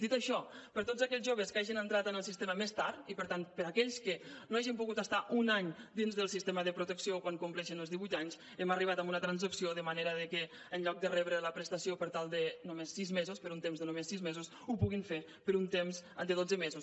dit això per a tots aquells joves que hagin entrat en el sistema més tard i per tant per a aquells que no hagin pogut estar un any dins del sistema de protecció quan compleixen els divuit anys hem arribat a una transacció de manera que en lloc de rebre la prestació per només sis mesos per un temps de només sis mesos ho puguin fer per un temps de dotze mesos